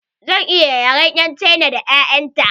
Zan yi yaren 'yan cina da 'ya'yan ta.